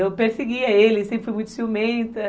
Eu perseguia ele, sempre fui muito ciumenta.